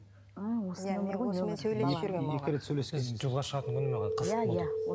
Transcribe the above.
жолға шығатын күні маған қызық болды